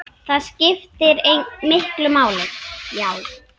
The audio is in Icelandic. Það skiptir miklu máli, já.